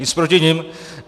Nic proti nim.